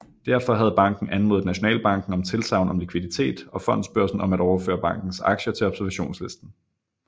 Derfor havde banken anmodet Nationalbanken om tilsagn om likviditet og Fondsbørsen om at overføre bankens aktier til observationslisten